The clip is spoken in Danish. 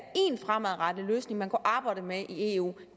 en fremadrettet løsning man kunne arbejde med i eu